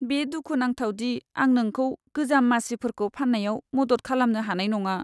बे दुखुनांथाव दि आं नोंखौ गोजाम मासिफोरखौ फान्नायाव मदद खालामनो हानाय नङा।